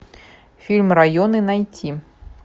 фильм районы найти